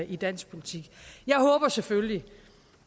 i dansk politik jeg håber selvfølgelig